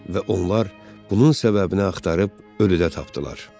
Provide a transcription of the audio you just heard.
Və onlar bunun səbəbini axtarıb ölüdə tapdılar.